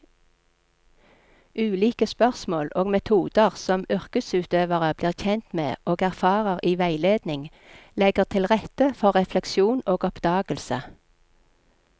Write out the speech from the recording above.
Ulike spørsmål og metoder som yrkesutøverne blir kjent med og erfarer i veiledning, legger til rette for refleksjon og oppdagelse.